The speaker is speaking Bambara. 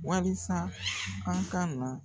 Walisa an ka nɔ